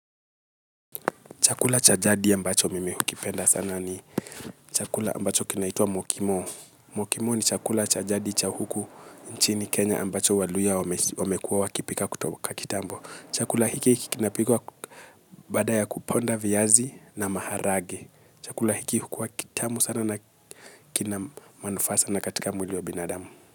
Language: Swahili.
Chakula cha jadi ambacho mimi hukipenda sana ni chakula ambacho kinaitwa Mokimo. Mokimo ni chakula cha jadi cha huku nchini Kenya ambacho waluya wamekuwa wakipika kutoka kitambo. Chakula hiki kinapikwa baada ya kuponda viazi na maharage. Chakula hiki hukuwa kitamu sana na kinamanufaa sana katika mwili wa binadamu.